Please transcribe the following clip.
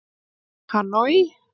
Hanoi